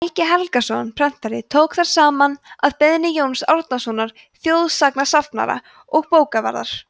helgi helgason prentari tók þær saman að beiðni jóns árnasonar þjóðsagnasafnara og bókavarðar